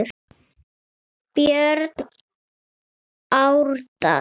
Björn Árdal.